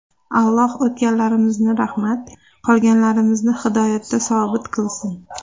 Alloh o‘tganlarimizni rahmat, qolganlarimizni hidoyatda sobit qilsin!